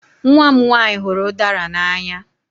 Nwa m nwanyị hụrụ udara n'anya.